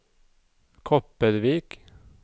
Kopervik